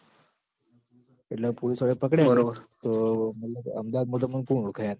એટલ પોલીસવાળા એ પકડ્યા તો અમદાવાદ મ તો તમોન કુણ ઓળખ યાર